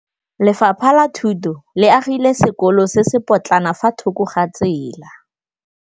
Lefapha la Thuto le agile sekôlô se se pôtlana fa thoko ga tsela.